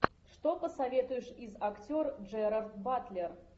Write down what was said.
что посоветуешь из актер джерард батлер